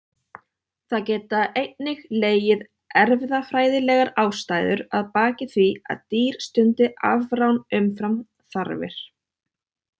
Það geta einnig legið erfðafræðilegar ástæður að baki því að dýr stundi afrán umfram þarfir.